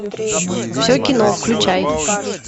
все кино включай